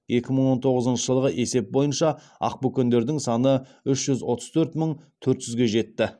екі мың он тоғызыншы жылғы есеп бойынша ақбөкендердің саны үш жүз отыз төрт мың төрт жүзге жетті